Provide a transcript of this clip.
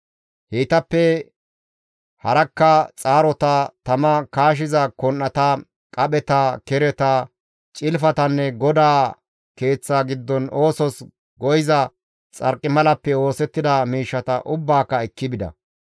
Heytappe harakka xaarota, tama kaashiza kon7ata, qapheta, kereta, cilfatanne GODAA Keeththa giddon oosos go7iza xarqimalappe oosettida miishshata ubbaaka ekki bida.